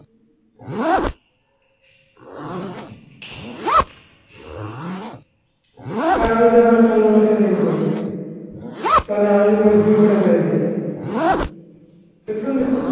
একটা অন্য মেয়ের সাথে প্রেম করি তাহলে আমি যদি বলি ভুল করে হয়ে গেছি তো শুনবি